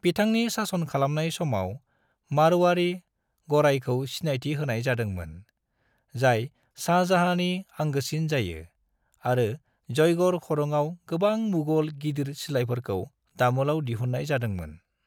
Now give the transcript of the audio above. बिथांनि सासन खालामनाय समाव, मारवाड़ी गरायखौ सिनायथि होनाय जादों मोन, जाय शाहजहाँनि आंगोसिन जायो, आरो जयगढ़ खरंआव गोबां मुगल गिदिर सिलायफोरखौ दामोलाव दिहुननाय जादों मोन।